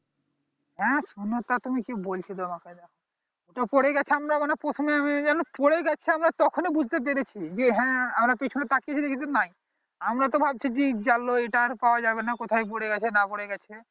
হ্যাঁ শুনো তো তুমি কি বলছি তোমাকে ওটা পড়ে গেছে আমরা মানে প্রথমে আমি জানো পড়েগেছে আমরা তখনই বুঝতে পেরেছি যে হ্যাঁ আমার পিছনে তাকিয়ে দেখি যে নাই আমরা তো ভাবছি যে গেলো এইটা আর পাওয়া যাবে না কোথায় পরে গেছে না পরে গেছে